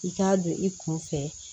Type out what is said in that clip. I k'a don i kun fɛ